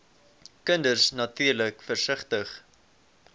kinders natuurlik versigtig